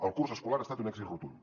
el curs escolar ha estat un èxit rotund